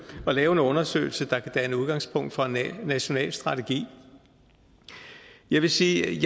at lave en undersøgelse der kan danne udgangspunkt for en national strategi jeg vil sige